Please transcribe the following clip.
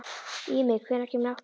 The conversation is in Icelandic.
Ími, hvenær kemur áttan?